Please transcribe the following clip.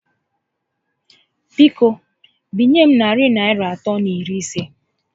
Biko, binye m narị Naịra atọ na iri isé